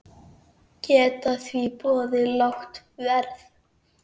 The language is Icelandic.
Geta því boðið lágt verð.